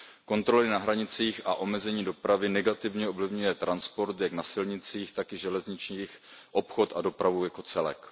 Kontroly na hranicích a omezení dopravy negativně ovlivňují transport jak na silnicích, tak i železnicích, obchod a dopravu jako celek.